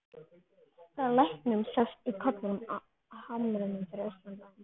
Frá læknum sást í kollinn á hamrinum fyrir austan bæinn.